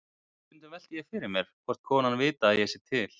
Stundum velti ég fyrir mér hvort konan viti að ég sé til.